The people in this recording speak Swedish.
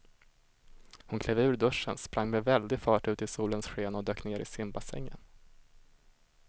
Hon klev ur duschen, sprang med väldig fart ut i solens sken och dök ner i simbassängen.